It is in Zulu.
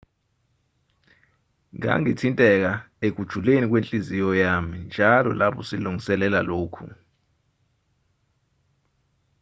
ngangithinteka ekujuleni kwenhliziyo yami njalo lapho silungiselela lokhu